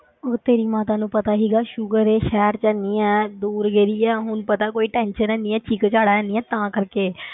ਉਹ ਤੇਰੀ ਮਾਤਾ ਨੂੰ ਪਤਾ ਸੀਗਾ ਸ਼ੁਕਰ ਹੈ ਸ਼ਹਿਰ ਜਾਨੀ ਹੈ ਦੂਰ ਗਈ ਹੈ ਹੁਣ ਪਤਾ ਕੋਈ tension ਹੈਨੀ ਹੈ, ਚੀਕ ਚਿਹਾੜਾ ਨਹੀਂ ਹੈ ਤਾਂ ਕਰਕੇ